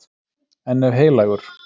En ef Heilagur